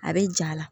A bɛ ja la